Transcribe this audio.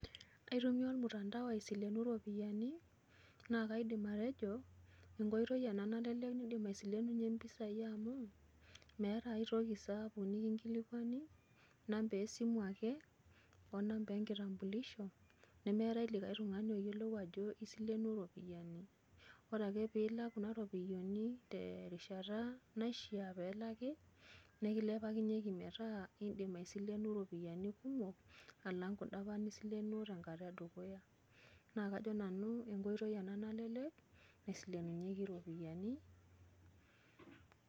aitumia ormutandao aisileninye iropiyiani. naa kaidim atejo, enkoitoi ena nalelek, idim aisilenunye mpisai amu, meeta ae toki saapuk nikinkilikuani, inamba esimu ake,o namba enkitambulisho, nemeeta likae tungani oyiolou ajo isilenuo iiropiyiani, ore ake pee ilak kuna ropiyiani, terishata naishaa pee elaki, nekilepanyieki metaa idim aisileno iropiyian kumok alang kuda apa nisilenuo tenkata edukuya. naa kajo nanu enkoitoi ena nalelek, naisileninyeki iropiyiani.